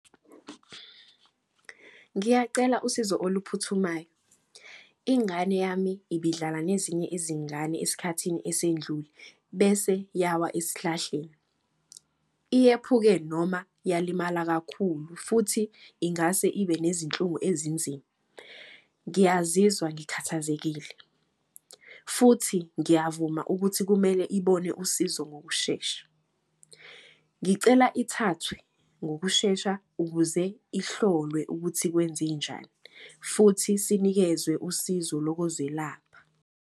Ngiyacela usizo oluphuthumayo. Ingane yami ibidlala nezinye izingane esikhathini esendlule bese yawa esihlahleni. Iyephuke noma yalimala kakhulu futhi ingase ibe nezinhlungu ezinzima. Ngiyazizwa ngikhathazekile futhi ngiyavuma ukuthi kumele ibone usizo ngokushesha. Ngicela ithathwe ngokushesha ukuze ihlolwe ukuthi kwenzenjani. Futhi sinikezwe usizo lokozelapha.